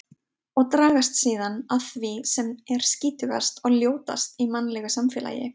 Og dragast síðan að því sem er skítugast og ljótast í mannlegu samfélagi.